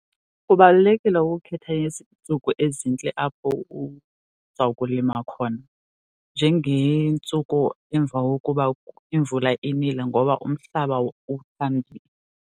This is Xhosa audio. Kubalulekile ukukhetha iintsuku ezintle apho uzawukulima khona njengeentsuku emva kokuba imvula inile ngoba umhlaba uthambile.